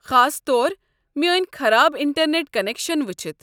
خاص طور میٲنۍ خراب انٹرنیٹ کنیکشن وٕچھِتھ۔